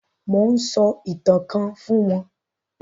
Mò ún sọ ìtàn kan fún wọn